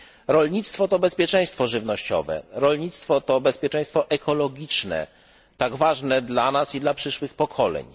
Rolnictwo to bezpieczeństwo żywnościowe, rolnictwo to bezpieczeństwo ekologiczne, tak ważne dla nas i dla przyszłych pokoleń.